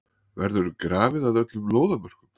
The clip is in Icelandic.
Verður grafið að öllum lóðarmörkum?